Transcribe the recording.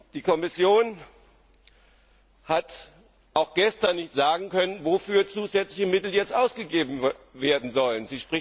ist! Die Kommission hat auch gestern nicht sagen können, wofür zusätzliche Mittel jetzt ausgegeben werden sollen.